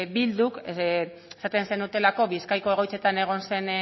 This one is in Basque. bilduk esaten zenutelako bizkaiko egoitzetan egon zen